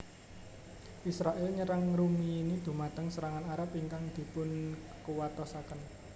Israèl nyerang ngrumiyini dhumateng serangan Arab ingkang dipunkuwatosaken